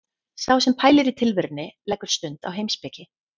Sá sem pælir í tilverunni leggur stund á heimspeki.